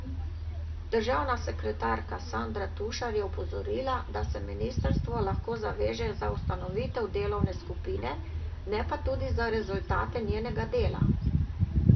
Državna sekretarka Sandra Tušar je opozorila, da se ministrstvo lahko zaveže za ustanovitev delovne skupine, ne pa tudi za rezultate njenega dela.